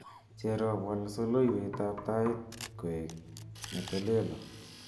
Cherop wal soloiwetab tait koek netolelo